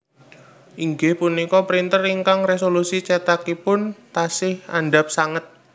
Inggih punika printer ingkang resolusi cetakipun tasih andhap sanget